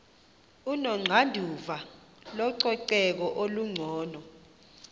onoxanduva lococeko olungcono